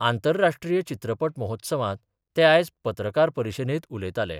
आंतरराष्ट्रीय चित्रपट महोत्सवात ते आयज पत्रकार परिशदेंत उलयतालें.